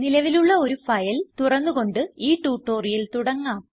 നിലവിലുള്ള ഒരു ഫയൽ തുറന്ന് കൊണ്ട് ഈ ട്യൂട്ടോറിയൽ തുടങ്ങാം